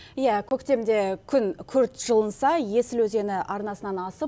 иә көктемде күн күрт жылынса есіл өзені арнасынан асып